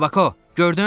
Kabako, gördün?